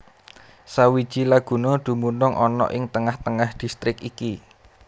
Sawiji laguna dumunung ana ing tengah tengah distrik iki